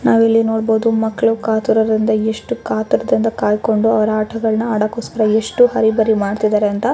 ನಾವು ಇಲ್ಲಿ ನೋಡಬಹುದು ಮಕ್ಕಳು ಕಾತರದಿಂದ ಎಷ್ಟು ಕಾತರದಿಂದ ಕಾಯಿಕೊಂಡು ಅವರ ಆಟಗಳನ್ನು ಆಡೋಕೊಸ್ಕರ ಎಷ್ಟು ಅರಿಬರಿ ಮಾಡ್ತಿದ್ದಾರೆ ಅಂತ .